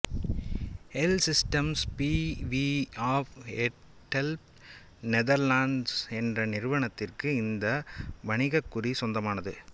A Systems B V of Delft Netherlands என்ற நிறுவனத்திற்கு இந்த வணிகக் குறி சொந்தமானது